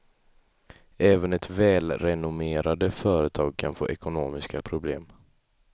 Även ett välrenommerade företag kan få ekonomiska problem.